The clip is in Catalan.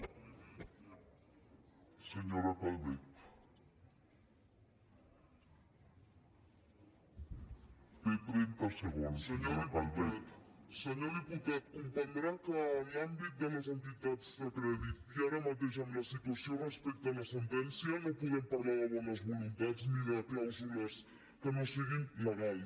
senyor diputat comprendrà que en l’àmbit de les entitats de crèdit i ara mateix en la situació respecte a la sentència no podem parlar de bones voluntats ni de clàusules que no siguin legals